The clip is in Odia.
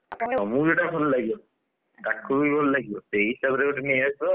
ତମକୁ ଯୋଉଟା ଭଲ ଲାଗିବ ତାକୁ ବି ଭଲ ଲାଗିବ ସେଇ ହିସାବ ରେ ନେଇ ଆସିବ ଆଉ,